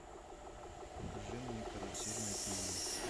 покажи мне карусель на тиви